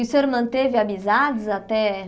E o senhor manteve amizades até?